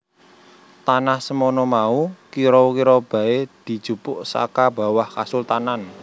Tanah semono mau kira kira baé dijupuk saka bawah Kasultanan